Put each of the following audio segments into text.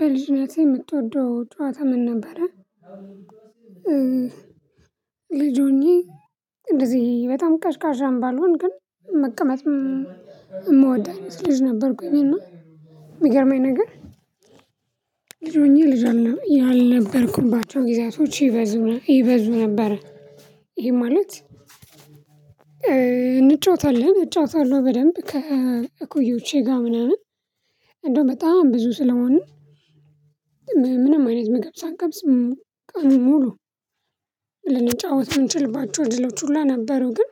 በልጅነትህ የምትወደው ጨዋታ ምን ነበረ? ልጅ ሆኜ እንደዚህ በጣም ቀዥቃዣም ባልሆን ግን መቀመጥም የምወድ አይነት ልጅ ነበርኩኝ። እና የሚገርመኝ ነገር ልጅ ሆኜ ልጅ ያልነበርኩባቸውን ጊዜያቶች ይበዙ ይበዙ ነበር። ይሄ ማለት እንጫወታለን እጫወታለሁ በደንብ ከእኩዮቼ ጋር ምናምን እንደው በጣም ብዙ ስለሆንን። ምንም አይነት ምግብ ሳንቀምስ ቀኑን ሙሉ ልንጫወት የምንችልባቸው እድሎች ሁላ ነበሩ። ግን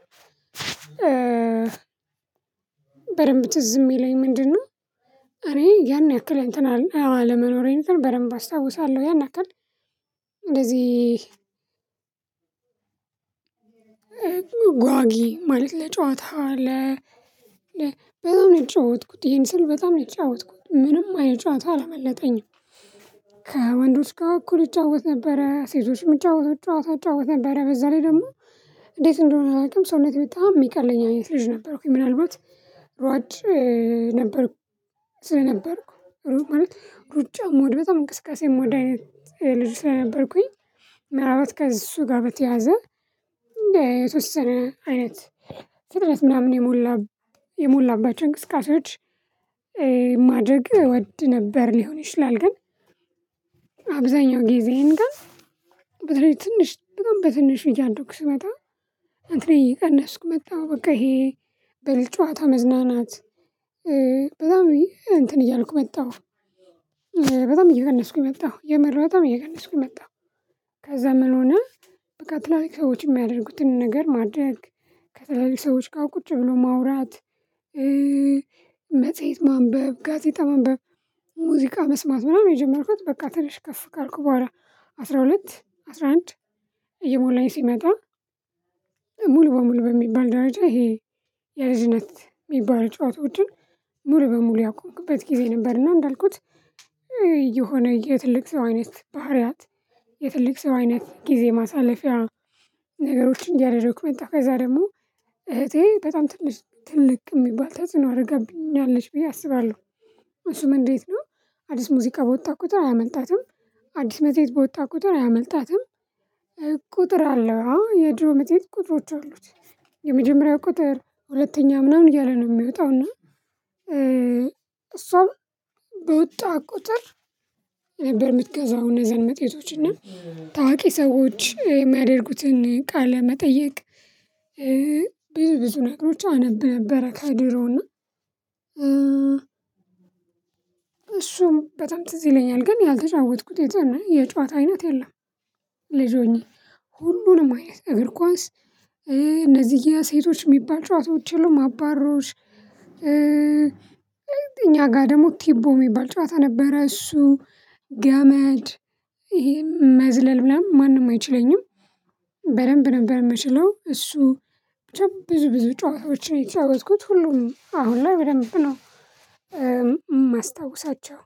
በደንብ ትዝ የሚለኝ ምንድነው? እኔ ያን ያክል እንተን አለ አለመኖሬን እንትን በደንብ አስታውሳለሁ። ያን ያክል እንደዚህ ጓጊ ማለት ለጨዋታ ለ ብዙ ነው የተጫወትኩት ይሄን ስል በጣም ነው የተጫወትኩት ምንም አይነት ጨዋታ አላመለጠኝም። ከወንዶች ጋር እኩል እጫወት ነበረ ሴቶች ሚጫወቱት ጨዋታ እጫወት ነበረ በዛ ላይ ደግሞ እንዴት እንደሆነ አላውቅም። ሰውነቴ በጣም የሚቀለኝ አይነት ልጅ ነበርኩኝ። ምናልባት ሯጭ ነበርኩ ስለነበርኩ ማለት ሩጫ ምወድ በጣም እንቅስቃሴ ምወድ አይነት ልጅ ሰለነበርኩኝ። ምን አልባት ከእሱ ጋር በተያያዘ የተወሰነ አይነት ፍጥነት ምናምን የሞላ የሞላባቸው እንቅስቃሴዎች ማድረግ እወድ ነበር ሊሆን ይችላል። ግን አብዛኛው ጊዜዬን ግን በተለይ ትንሽ በጣም በትንሹ እያደኩ ስመጣ እንትኔ እየቀነስኩ መጣሁ። በቃ ይሄ በልጅ ጨዋታ መዝናናት በጣም እንትን እያልኩ መጣሁ በጣም እየቀነስኩ መጣሁ። የምር በጣም እየቀነስኩ መጣሁ። ከዛ ምን ሆነ? በቃ ትላልቅ ሰዎች የሚያደርጉትን ነገር ማድረግ ከተለያዩ ሰዎች ጋር ቁጭ ብሎ ማውራት። መጽሄት ማንበብ ጋዜጣ ማንበብ ሙዚቃ መስማት ምናምን የጀመርኩት። በቃ ትንሽ ከፍ ካልኩ በኋላ አስራ ሁለት አስራ አንድ እየሞላኝ ሲመጣ። ሙሉ በሙሉ በሚባል ደረጃ ይሄ የልጅነት ሚባሉ ጨዋታዎችን ሙሉ በሙሉ ያቆምኩበት ጊዜ ነበር። እና እንዳልኩት የሆነ የትልቅ ሰው አይነት ባህሪያት የትልቅ ሰው አይነት ጊዜ ማሳለፊያ ነገሮችን እያደረኩ መጣው ከዛ ደግሞ እህቴ በጣም ትልቅ ትልቅ የሚባል ተጽዕኖ አድርጋብኛለች ብዬ አስባለሁ። እሱም እንዴት ነው? አዲስ ሙዚቃ በወጣ ቁጥር አያመልጣትም። አዲስ መጽሄት በወጣ ቁጥር አያመልጣትም። ቁጥር አለው የድሮ መጽሄት ቁጥሮች አሉት። የመጀመሪያው ቁጥር ሁለተኛ ምናምን እያለ ነው የሚወጣው እና። እሷም በወጣ ቁጥር ነበር የምትገዛው። እነዛን መጽሄቶች እና ታዋቂ ሰዎች የሚያደርጉትን ቃለ መጠይቅ። ብዙ ነገሮች አነብ ነበረ። ከድሮ እና እሱም በጣም ትዝ ይለኛል ግን ያልተጫወትኩት የጨዋታ አይነት የለም። ልጅ ሆኜ ሁሉንም አይነት እግር ኳስ እነዚህ የሴቶች የሚባል ጨዋታዎች የሉም አባሮሽ። እኛ ጋር ደግሞ ቲቦ የሚባል ጨዋታ ነበረ። እሱ ገመድ ይሄን መዝለል ምናምን ማንም አይችለኝም። በደንብ ነበር የምችለው እሱ ብቻ ብዙ ብዙ ጨዋታዎችን ነው የተጫወትኩት ሁሉም አሁን ላይ በደንብ ነው። የማስታውሳቸው።